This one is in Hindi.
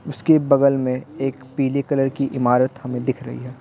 उसके बगल में एक पीले कलर की इमारत हमें दिख रही है।